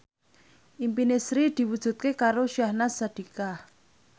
impine Sri diwujudke karo Syahnaz Sadiqah